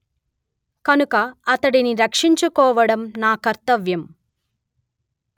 కనుక అతడిని రక్షించుకోవడం నా కర్తవ్యం